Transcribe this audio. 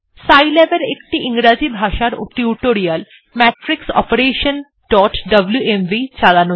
Scilab এর একটি ইংরাজি ভাষার টিউটোরিয়াল matrixoperationডব্লুএমভি চালানো যাক